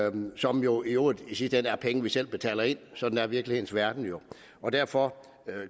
eu som jo i øvrigt i sidste ende er penge vi selv betaler ind sådan er virkelighedens verden jo derfor